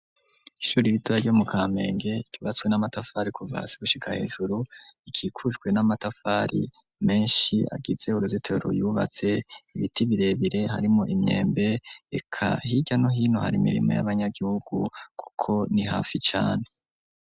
Ishure ritoya ryo mu kampenge ryubatswe n'amatafari kuvasi gushika hejuru, ikikujwe n'amatafari menshi, agitze uruzitero yubatse ibiti birebire harimo imyembe reka hirya no hino hari mirimo y'abanyagihugu, kuko ni hafi cane.